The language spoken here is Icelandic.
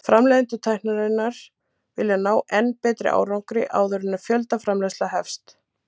Framleiðendur tækninnar vilja ná enn betri árangri áður en fjöldaframleiðsla hefst.